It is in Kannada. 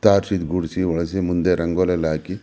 ತಾರ್ಸಿ ಗೂಡ್ಸಿ ಒರಸಿ ಮುಂದೆ ರಂಗೋಲಿ ಎಲ್ಲ ಹಾಕಿ --